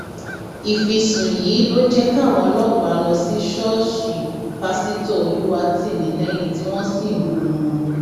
ìfisùn yìí ló jẹ káwọn ọlọpàá lọ sí ṣọọṣì pásítọ olùwátìmílẹyìn tí wọn sì mú un